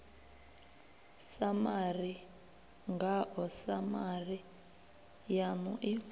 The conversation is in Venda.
samari ngao samari yanu i